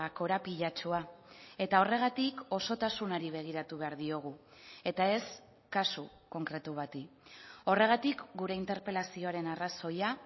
korapilatsua eta horregatik osotasunari begiratu behar diogu eta ez kasu konkretu bati horregatik gure interpelazioaren arrazoia